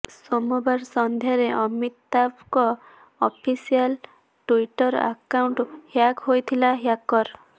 ସୋମବାର ସନ୍ଧ୍ୟାରେ ଅମିତାଭଙ୍କ ଅଫିସିଆଲ ଟୁଇଟର ଆକଉଣ୍ଟ ହ୍ୟାକ ହୋଇଥିଲା ହ୍ୟାକର